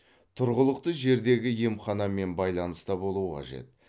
тұрғылықты жердегі емханамен байланыста болу қажет